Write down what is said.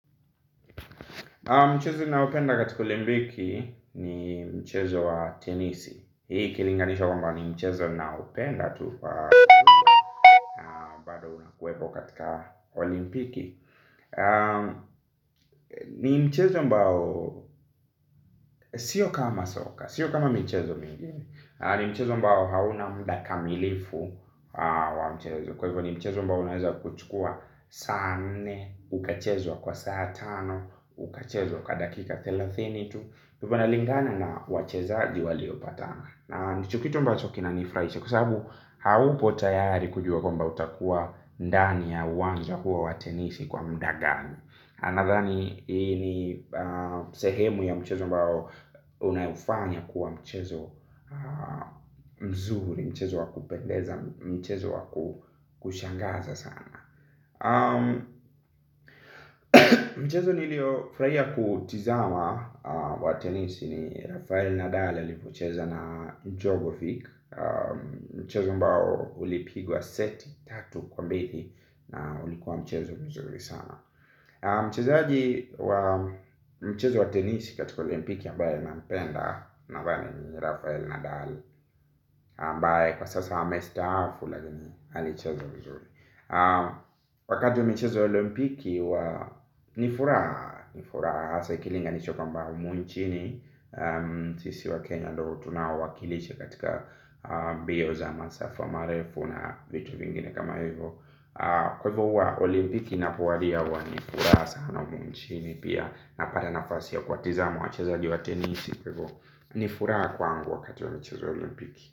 Mchezo ninaopenda katika olimpiki ni mchezo wa tenisi. Hii ikilinganishwa kwamba ni mchezo ninaopenda tu wepo katika olimpiki. Ni mchezo ambao, sio kama soka, sio kama mchezo mingine. Ni mchezo ambao hauna mudaa kamilifu wa mchezo. Kwa hivyo ni mchezo ambao unaweza kuchukua saa nne. Ukachezwa kwa saa tano, ukachezwa kwa dakika thelathini tu kwa hivo inalingana na wachezaji waliopatana. Na ndicho kitu ambacho kinanifuraisha kwa sababu haupo tayari kujua kwamba utakuwa ndani ya uwanja huo wa tenisi kwa muda gani nadhani hii ni sehemu ya mchezo ambao unaifanya kuwa mchezo mzuri. Mchezo wakupendeza. Mchezo wakushangaza sana. Mchezo niliofurahia kutizama wa tenisi. Ni Rafael Nadal alipocheza na Jogovic. Mchezo ambao ulipigwa seti, tatu kwa mbili. Na ulikuwa mchezo mzuri sana. Mchezaji wa mchezo wa tenisi katika olimpiki aMbaye nampenda naambaye ni Rafael Nadal ambaye kwa sasa amestaafu uakini alicheza mzuri. Wakati wa michezo ya olimpiki huwa ni furaha nifuraha hasa ikilinganishwa kamba humu nchini. Sisi wa Kenya ndio tunawakilisha katika mbio za masafa marefu na vitu vingine kama hivyo. Kwa hivyo huwa olimpiki inapowadia huwa ni furaha sana humuu nchini pia. Napata nafasi ya kuwatazama wachezaji wa tenisi. Kwa hivyo nifuraha kwangu wakati wa mchezo yaolimpiki.